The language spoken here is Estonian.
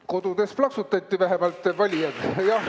Kodudes plaksutati vähemalt!